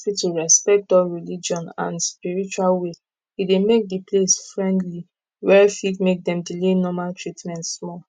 when hospital respect all religion and spiritual way e dey make the place friendly were fit make dem delay normal treatment small